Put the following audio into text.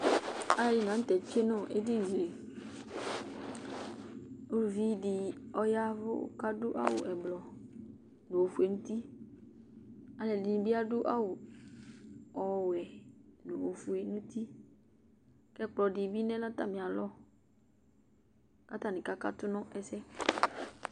alʊ lanutɛ zati nʊ edinidɩ, uluvi dɩ yavʊ kʊ adʊ awu blu nʊ ofue nʊ uti, aluɛdɩnɩ bɩ adʊ awu wɛ, nʊ ofue nʊ uti, kʊ ɛkplɔ bɩ lɛ nʊ atamialɔ, kʊ atanɩ kakatʊ nʊ ɛsɛ